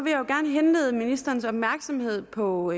jeg vil gerne henlede ministerens opmærksomhed på